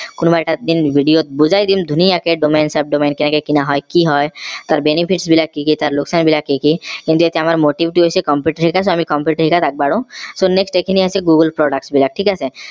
কোনোবা এটা দিন video ত বুজাই দিম ধুনীয়াকে domain subdomain কেনেকে কিনা হয় কি হয় তাৰ benefits কি কি তাৰ লোকচান বিলাক কি কি কিন্তু এতিয়া আমাৰ motive টো হৈছে ঠিক আছে ত আগবঢ়ো so next এই খিনি আছিল google product বিলাক ঠিক আছে